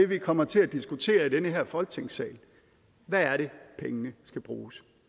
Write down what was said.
vi kommer til at diskutere i den her folketingssal hvad er det pengene skal bruges